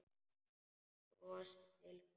Hann brosir til hennar.